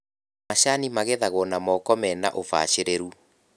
Macani magethagwo na moko mena ũbacĩrĩru.